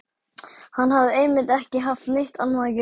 Hann hafði einmitt ekki haft neitt annað að gera.